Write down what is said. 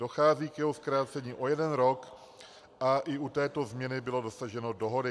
Dochází k jeho zkrácení o jeden rok a i u této změny bylo dosaženo dohody.